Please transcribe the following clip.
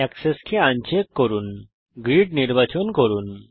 access কে uncheck করুন grid নির্বাচন করুন